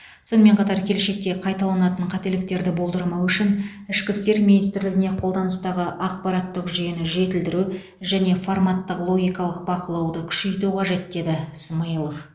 сонымен қатар келешекте қайталанатын қателіктерді болдырмау үшін ішкі істер министрлігіне қолданыстағы ақпараттық жүйені жетілдіру және форматтық логикалық бақылауды күшейту қажет деді смайылов